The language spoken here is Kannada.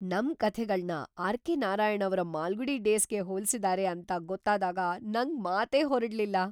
ನಮ್ ಕಥೆಗಳ್ನ ಆರ್.ಕೆ. ನಾರಾಯಣ್ ಅವ್ರ ಮಾಲ್ಗುಡಿ ಡೇಸ್‌ಗೆ ಹೋಲ್ಸಿದಾರೆ ಅಂತ ಗೊತ್ತಾದಾಗ ನಂಗ್‌ ಮಾತೇ ಹೊರಡ್ಲಿಲ್ಲ!